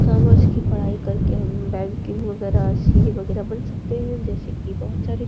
Commerce की पढ़ाई कर के बैंकिंग वगेरा सी.ए वगैरा बन सकते हैं। जैसे कि बोहोत सारे --